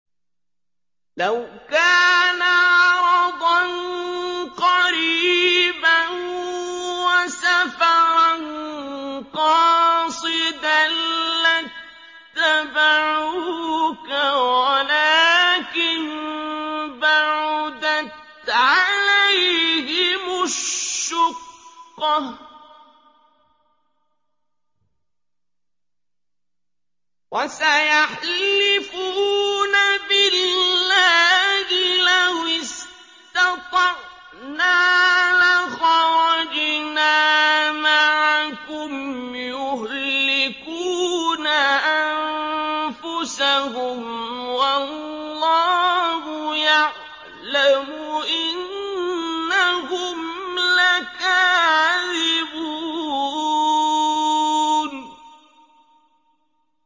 لَوْ كَانَ عَرَضًا قَرِيبًا وَسَفَرًا قَاصِدًا لَّاتَّبَعُوكَ وَلَٰكِن بَعُدَتْ عَلَيْهِمُ الشُّقَّةُ ۚ وَسَيَحْلِفُونَ بِاللَّهِ لَوِ اسْتَطَعْنَا لَخَرَجْنَا مَعَكُمْ يُهْلِكُونَ أَنفُسَهُمْ وَاللَّهُ يَعْلَمُ إِنَّهُمْ لَكَاذِبُونَ